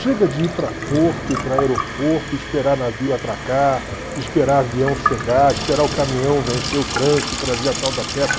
Chega de ir para porto, ir para aeroporto, esperar navio atracar, esperar avião chegar, esperar o caminhão vencer o trânsito e trazer a tal da peça.